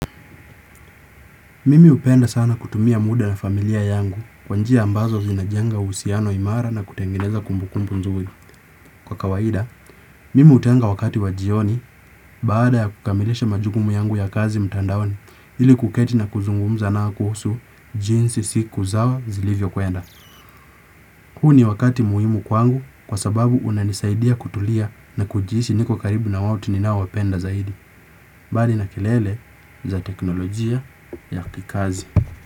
Mimi upenda sana kutumia muda na familia yangu kwanjia ambazo zinajenga usiano imara na kutengeneza kumbukumbu nzuri. Kwa kawaida, mimi utenga wakati wajioni baada ya kukamilisha majukumu yangu ya kazi mtandaoni ili kuketi na kuzungumza nao kuhusu jinsi siku zao zilivyo kwenda. Huu ni wakati muhimu kwangu kwa sababu unanisaidia kutulia na kujihisi niko karibu na wote ninao wapenda zaidi mbali na kelele za teknolojia ya kikazi.